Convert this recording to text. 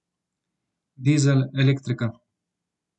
Dizel, elektrika ...